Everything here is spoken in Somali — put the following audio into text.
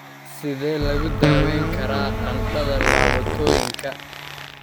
Sidee lagu daweyn karaa qandhada laabotooyinka?